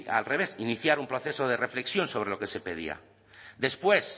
al revés iniciar un proceso de reflexión sobre lo que se pedía después